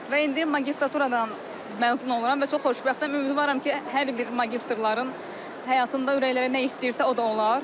Və indi magistraturadan məzun oluram və çox xoşbəxtəm, ümidvaram ki, hər bir magistrların həyatında ürəklərə nə istəyirsə, o da olar.